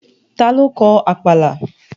Ta ló kọ Àpàlà?